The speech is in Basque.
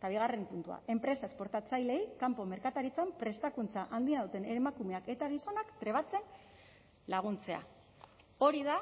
eta bigarren puntua enpresa esportatzaileei kanpo merkataritzan prestakuntza handia duten emakumeak eta gizonak trebatzen laguntzea hori da